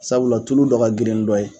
Sabula tulu dɔ ka girin ni dɔ ye.